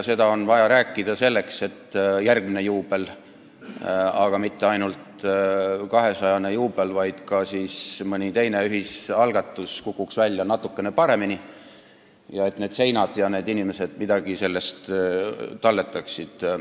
Seda on vaja rääkida selleks, et järgmine juubel – aga mitte ainult 200 aasta juubel, vaid ka mõni teine ühisalgatus – kukuks välja natukene paremini ning et need seinad ja need inimesed midagi sellest talletaksid.